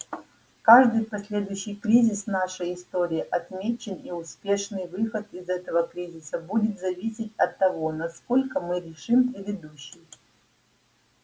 каждый последующий кризис в нашей истории отмечен и успешный выход из этого кризиса будет зависеть от того насколько мы решим предыдущий